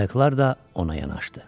Qayıqlar da ona yanaşdı.